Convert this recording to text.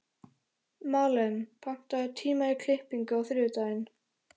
Malen, pantaðu tíma í klippingu á þriðjudaginn.